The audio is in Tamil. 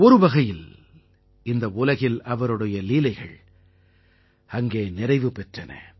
ஒரு வகையில் இந்த உலகில் அவருடைய லீலைகள் அங்கே நிறைவு பெற்றன